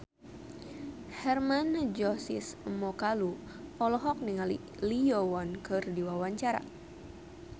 Hermann Josis Mokalu olohok ningali Lee Yo Won keur diwawancara